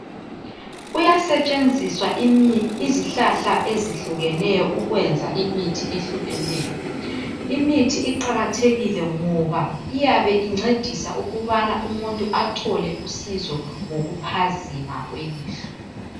Kuyasetshenziswa izihlahla ezehlukeneyo ukwenza imithi ehlukeneyo imithi iqakathekile ngoba iyabe incedisa ukubana umuntu athole usizo ngokuphazima kwelihlo.